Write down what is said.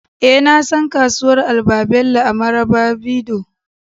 eh, na san kasuwar albabelo a marabarido